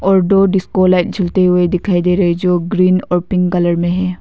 और दो disco light जलते हुए दिखाई दे रहे जो ग्रीन और पिंक कलर में है।